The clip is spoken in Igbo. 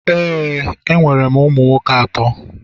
ee, enwere m ụmụ nwoke atọ.